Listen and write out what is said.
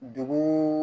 Dugu